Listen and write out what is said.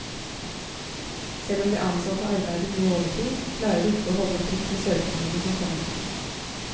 Selv om de ansatte arbeider mye overtid, klarer de ikke å holde tritt med søknadene som kommer inn.